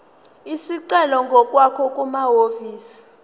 isicelo ngokwakho kumahhovisi